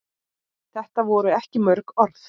Þetta voru ekki mörg orð.